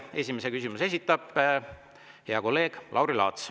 Esimese küsimuse esitab hea kolleeg Lauri Laats.